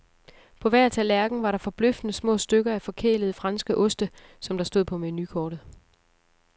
På hver tallerken var der forbløffende små stykker af forkælede franske oste, som der stod på menukortet.